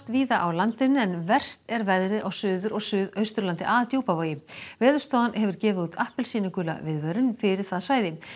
víða á landinu en verst er veðrið á Suður og Suðausturlandi að Djúpavogi Veðurstofan hefur gefið út appelsínugula viðvörun fyrir það svæði